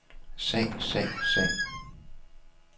sag sag sag